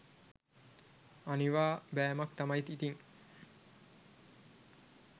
අනිවා බෑමක් තමයි ඉතින්.